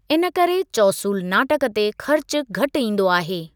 इन करे चौसूल नाटक ते खर्चु घटि ईंदो आहे।